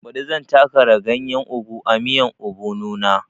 Baɗi zan ta kara ganyen ogu a miyan obono na